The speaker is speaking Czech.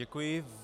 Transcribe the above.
Děkuji.